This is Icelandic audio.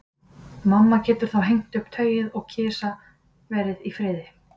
Mamma getur þá hengt upp tauið og kisa verið í friði.